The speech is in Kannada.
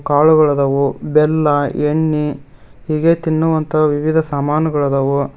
ಕಾಳುಗಳು ಅದಾವು ಬೆಲ್ಲ ಎಣ್ಣಿ ಹೀಗೆ ತಿನ್ನುವಂತಹ ವಿವಿಧ ಸಾಮಾನುಗಳದವು.